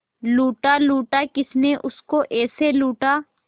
लूटा लूटा किसने उसको ऐसे लूटा